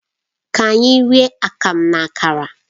Ka anyị rie Akamu na Akara